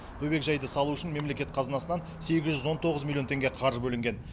бөбекжайды салу үшін мемлекет қазынасынан сегіз жүз он тоғыз миллион теңге қаржы бөлінген